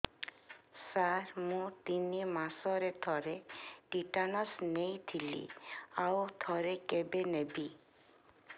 ସାର ମୁଁ ତିନି ମାସରେ ଥରେ ଟିଟାନସ ନେଇଥିଲି ଆଉ ଥରେ କେବେ ନେବି